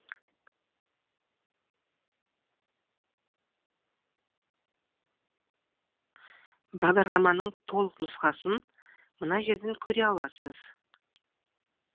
бағдарламаның толық нұсқасын мына жерден көре аласыз